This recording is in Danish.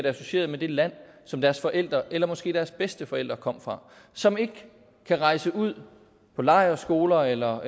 associeret med det land som deres forældre eller måske deres bedsteforældre kommer fra og som ikke kan rejse ud på lejrskoler eller